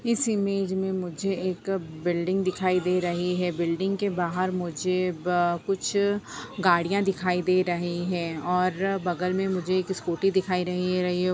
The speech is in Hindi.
इस इमेज में मुझे एक अ बिल्डिंग दिखाई दे रही है बिल्डिंग के बाहर मुझे ब कुछ गड़ियाँ दिखाई दे रही हैं और बगल में मुझे एक स्कूटी दिखाई रही रही --